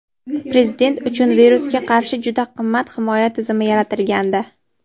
Prezident uchun virusga qarshi juda qimmat himoya tizimi yaratilgandi.